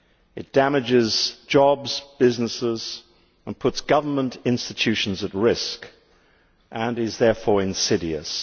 It damages jobs and businesses and puts government institutions at risk, and it is therefore insidious.